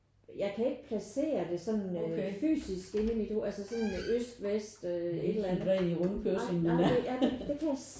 Jeg kan ikke placere det sådan fysisk inde i mit altså sådan med øst vest et eller andet ej det kan jeg simpelthen ikke